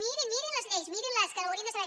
mirin mirin les lleis mirin les que ho haurien de saber